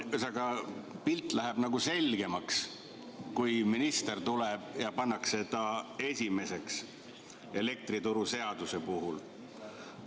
Ühesõnaga, pilt läheb selgemaks, kui minister pannakse elektrituruseaduse puhul esimeseks.